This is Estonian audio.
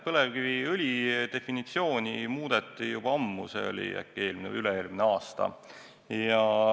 Põlevkiviõli definitsiooni muudeti juba ammu, see oli eelmine või üle-eelmine aasta.